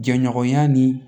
Jɛɲɔgɔnya ni